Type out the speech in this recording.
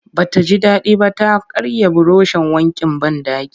Ba ta ji daɗi ba ta karya burushin wankin banɗaki